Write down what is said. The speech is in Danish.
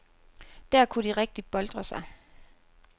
Der kunne de rigtigt boltre sig.